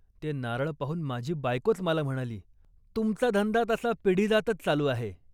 ते नारळ पाहून माझी बायकोच मला म्हणाली. "तुमचा धंदा तसा पिढीजातच चालू आहे